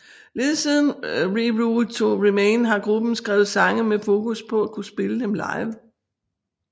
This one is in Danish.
Lige siden Reroute to Remain har gruppen skrevet sange med fokus på at kunne spille dem live